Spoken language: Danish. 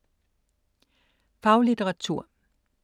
Faglitteratur